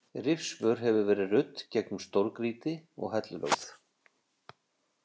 Rifsvör hefur verið rudd gegnum stórgrýti og hellulögð.